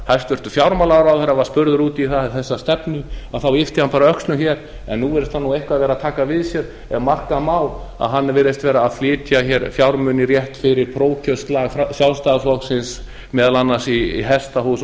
hæstvirtur fjármálaráðherra var spurður út í þessa stefnu þá yppti hann bara öxlum hér en nú virðist hann eitthvað vera að taka við sér af merka má að hann virðist vera að flytja fjármuni rétt fyrir prófkjörsslag sjálfstæðisflokksins meðal annars í hesthús